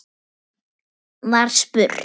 var spurt.